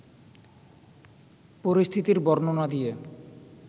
পরিস্থিতির বর্ণনা দিয়ে